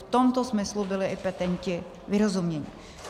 V tomto smyslu byli i petenti vyrozuměni.